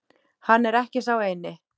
Hann er ekki sá eini.